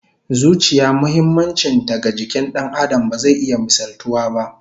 Zuciya muhimmancin ta ga jikin Dan Adam ba zai iya misaltuwa ba